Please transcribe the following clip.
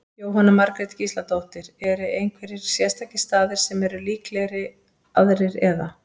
Jóhanna Margrét Gísladóttir: Eru einhverjir sérstakir staðir sem eru líklegri aðrir, eða?